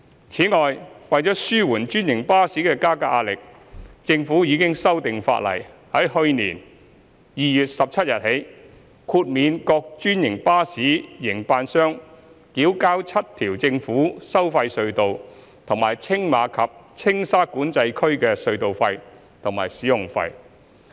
此外，為紓緩專營巴士的加價壓力，政府已修訂法例，自去年2月17日起，豁免各專營巴士營辦商繳交7條政府收費隧道和青馬及青沙管制區的隧道費和使用費。